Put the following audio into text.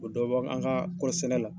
O bi dɔ bɔ an ka kɔɔri sɛnɛ la.